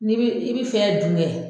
N' i b'i i b'i fɛn dun kɛ.